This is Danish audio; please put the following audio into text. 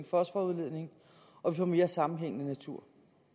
fosforudledning og vi får mere sammenhængende natur